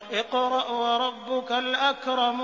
اقْرَأْ وَرَبُّكَ الْأَكْرَمُ